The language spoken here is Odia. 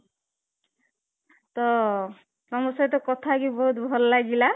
ତ ତମ ସହ କଥା ବି ବହୁତ ଭଲ ଲାଗିଲା